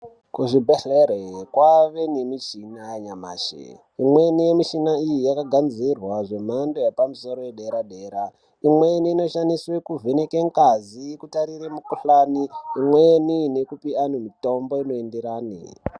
Kuzvibhedhlera kwakuwanikwa michini yanyamashi imweni yemuchina iyi yakagadzirwa zvemhando yepamusoro yedera dera imweni inoshandiswa kuvheneka ngazi kutarira mukuhlani imweni nekupa anhu mitombo inoenderana.